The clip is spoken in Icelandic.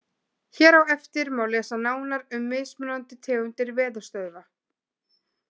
Hér á eftir má lesa nánar um mismunandi tegundir veðurstöðva.